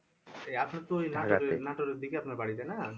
এই আপনার তো ওই নাটোরের দিকে আপনার বাড়ি তাই না?